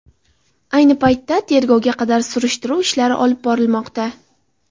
Ayni paytda tergovga qadar tekshiruv ishlari olib borilmoqda.